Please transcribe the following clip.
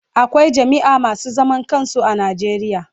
Akwai jami'a masu zaman kansu a Najeriya.